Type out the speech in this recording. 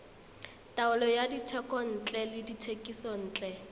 taolo ya dithekontle le dithekisontle